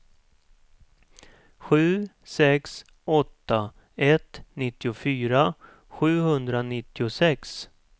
sju sex åtta ett nittiofyra sjuhundranittiosex